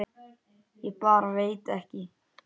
Ég bara veit ekki.